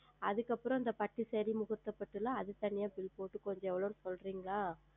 அதற்கு அப்புறம் அந்த பட்டு Saree முகூர்த்த பட்டு அதற்கு எல்லாம் தனியாக Bill போட்டு கொஞ்சம் எவ்வளவு என்று சொல்லுகிறீர்களா